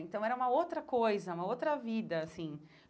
Então era uma outra coisa, uma outra vida, assim.